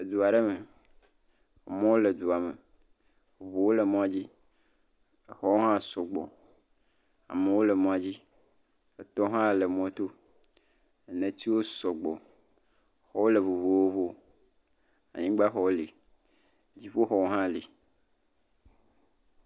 Edu aɖe me. Amewo le duame. Eŋuwo le mɔdzi. Exɔwo hã sɔgbɔ. Amewo le mɔdzi. Etɔwo hã le mɔto. Netiwo sɔgbɔ. Xɔwo le vovovo. Anyigbaxɔwo le, dziƒoxɔ tsɛwo le.